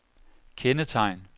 kendetegn